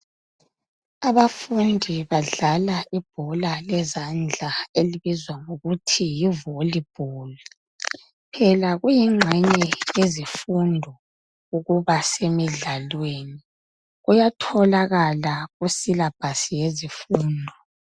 Abafundi badlala ibhoka lezandla elibizwa ngokuthi yivolibholu, phela kuyinxenye yezifundo ukuba semidlalweni, kuyatholakala kusilabhasi yezifundo.